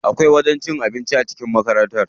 Akwai wajen cin abinci a cikin makaranta.